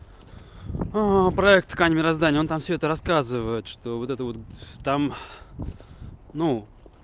проект ткань мироздание он там все это рассказывает что вот это вот там ну